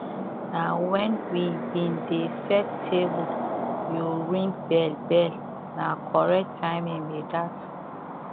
na when we been dey set table you ring bell bell na correct timing be that